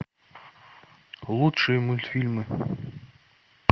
лучшие мультфильмы